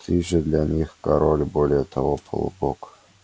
ты же для них король более того полубог